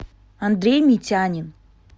андрей митянин